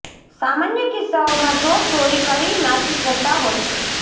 સામાન્ય કિસ્સાઓમાં ચોર ચોરી કરી નાસી જતાં હોય છે